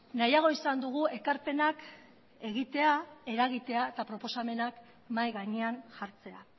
nahiago izan dugu ekarpenak egitea eragitea eta proposamenak mahai gainean jartzea